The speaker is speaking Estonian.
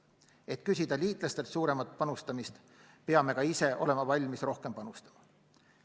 Et küsida liitlastelt suuremat panustamist, peame ka ise olema valmis rohkem panustama.